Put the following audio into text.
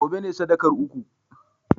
gobe ne sadakar uku!